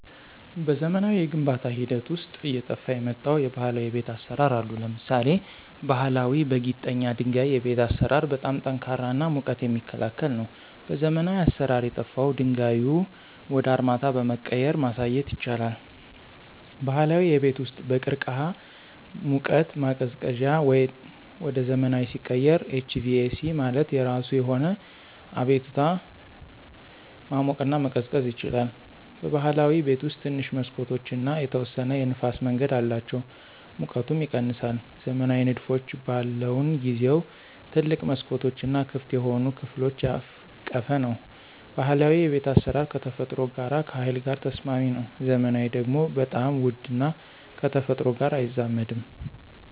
በዘመናዊ የግንባታ ሂደት ውስጥ አየጠፍ የመጣው የባህላዊ የቤት አሰራር አሉ። ለምሳሌ ባሀላዊ በጊጠኛ ድንጋይ የቤት አሰራር በጣም ጠንካራ እና ሙቀት የሚክላከል ነው። በዘመናዊ አሰራር የጠፍው ድንጋዩ ወደ አርማታ በመቀየራ ማሳየት ይቻላል። ባህላዊ የቤት ውስጥ በቅርቅህ ሙቀት ማቀዝቀዚያ ወደ ዘመናዊ ሲቀየር HVAC ማለት የራሱ የሆነ አቤቱታ ማሞቅና መቀዝቀዝ ይችላል። በብህላዊ ቤት ውስጥ ትንሽ መሠኮቶች እና የተወሰነ የንፍስ መንገድ አላቸው ሙቀቱም ይቀነሳል። ዘመናዊ ንድፎች በለውን ጊዜው ትልቅ መስኮቶች እና ክፍት የሆኑ ከፍሎች ያቀፈ ነው። ባህላዊ የቤት አስራር ከተፈጥሮ ጋር ከሀይል ጋር ተስማሚ ነው። ዘመናዊ ደግሞ በጣም ውድ እና ከተፈጥሮ ጋር አይዛመድም።